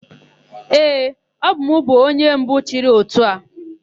Ee, ọbụ m bụ onye mbụ chịrị ótù a.